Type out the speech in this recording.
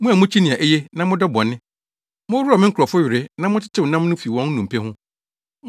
Mo a mukyi nea eye na modɔ bɔne moworɔw me nkurɔfo were na motetew nam no fi wɔn nnompe ho;